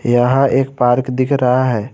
यहां एक पार्क दिख रहा है।